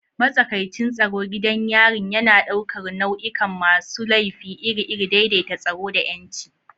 Matsakaicin tsaro gidan yarin yana ɗaukar nau'ikan masu laifi iri-iri, daidaita tsaro da 'yanci.